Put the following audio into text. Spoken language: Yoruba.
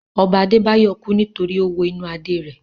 Ọba Adé Báyọ̀ kú nítorí ó wo inú Adé rẹ̀